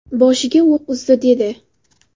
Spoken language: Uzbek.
Boshiga o‘q uzdi”, dedi.